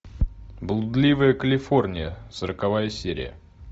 блудливая калифорния сороковая серия